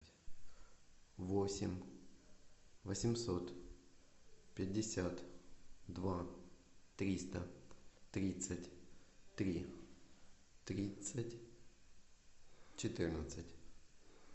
восемь восемьсот пятьдесят два триста тридцать три тридцать четырнадцать